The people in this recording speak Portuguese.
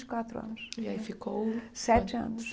e quatro anos E aí ficou... Sete anos.